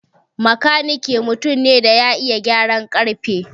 Makanike mutum ne da ya iya gyaran ƙarfe.